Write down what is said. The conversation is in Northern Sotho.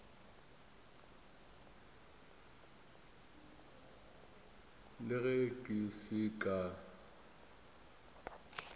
le ge ke se ka